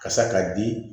Kasa k'a di